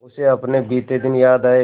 उसे अपने बीते दिन याद आए